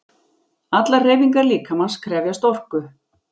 Allar hreyfingar líkamans krefjast orku.